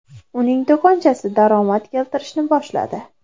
Uning do‘konchasi daromad keltirishni boshladi.